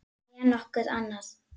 Né nokkuð annað.